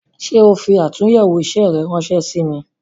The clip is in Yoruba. Ṣé o fi atunyewo isẹ rẹ ránsẹ́ sí mi "